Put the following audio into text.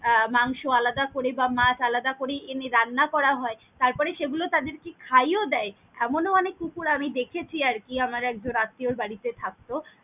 আহ মাংস আলাদা করে বা মাছ আলাদা করে এনে রান্না করা হয়, তারপরে সেগুলা তাদের কে খাইয়েও দেই এমনও অনেক কুকুর আমি দেখেছি আরকি আমার একজন আত্তিও বাড়িতে থাকত।